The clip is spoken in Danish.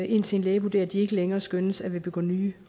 indtil en læge vurderer at de ikke længere skønnes at ville begå nye